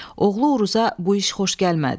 Oğlu Uruza bu iş xoş gəlmədi.